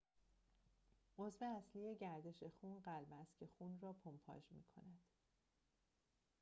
عضو اصلی دستگاه گردش خون قلب است که خون را پمپاژ می‌کند